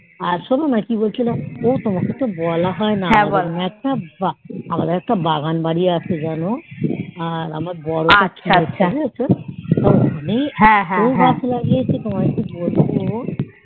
আর শোনো না কি বলছিলাম তোমাকে তো বলা হয় না আমাদের একটা বাগান বাড়ি আছে জানো আমার বর ওটা কিনেছে আচ্ছা আমি এত গাছ লাগিয়েছি যে তোমাকে কি বলবো